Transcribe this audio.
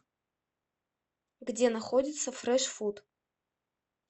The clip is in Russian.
где находится фрэш фуд